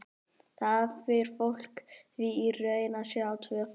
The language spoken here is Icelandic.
Þar fer fólk því í raun að sjá tvöfalt.